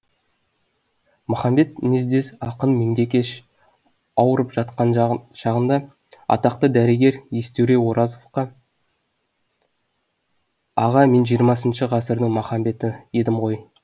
махамбет мінездес ақын меңдекеш ауырып жатқан шағында атақты дәрігер естөре оразақовқа аға мен жиырмасыншы ғасырдың махамбеті едім ғой